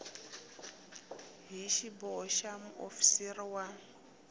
hi xiboho xa muofisiri wa